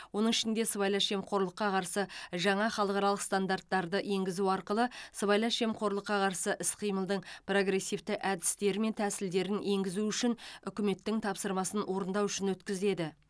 оның ішінде сыбайлас жемқорлыққа қарсы жаңа халықаралық стандарттарды енгізу арқылы сыбайлас жемқорлыққа қарсы іс қимылдың прогрессивті әдістері мен тәсілдерін енгізу үшін үкіметтің тапсырмасын орындау үшін өткізеді